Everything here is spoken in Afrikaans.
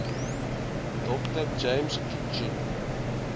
dr james kitching